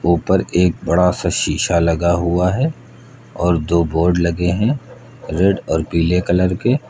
ऊपर एक बड़ा सा शीशा लगा हुआ है और दो बोर्ड लगे हैं रेड और पीले कलर के--